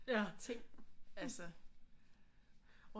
Ting altså